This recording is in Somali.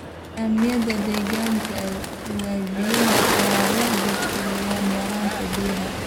Nidaamyada deegaanka ee webiyada ayaa la dhibtoonaya yaraanta biyaha.